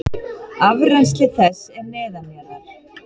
Afrennsli þess er neðanjarðar.